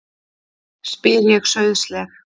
spyr ég sauðsleg.